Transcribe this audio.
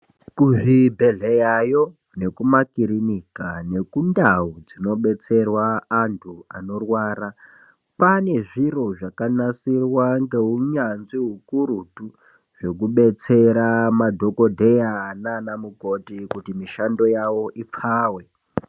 Kuzvibhedhleyayo nekumakirinika nekundau dzinodetserwa antu anorwara, pane zviro zvakanasirwa ngehunyanzvi hukurutu zvekubetsera madhokodheya naana mukoti kuti mishando yavo ipfave.